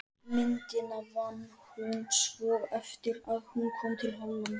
Myndina vann hún svo eftir að hún kom til Hollands.